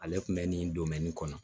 Ale tun bɛ nin kɔnɔ